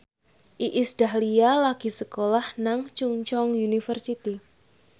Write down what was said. Iis Dahlia lagi sekolah nang Chungceong University